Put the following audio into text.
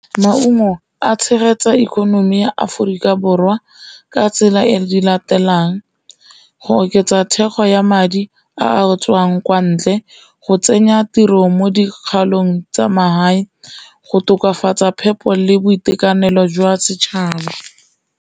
Maungo a tshegetsa ikonomi ya Aforika Borwa ka tsela e latelang go oketsa thekgo ya madi a a tswang kwa ntle, go tsenya tiro mo dikgaolong tsa magae, go tokafatsa phepo le boitekanelo jwa setšhaba.